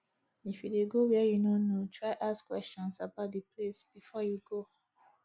if you de go where you no know try ask questions about di place before you go